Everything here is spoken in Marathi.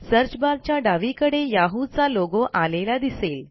सर्च barच्या डावीकडे Yahooचा लोगो आलेला दिसेल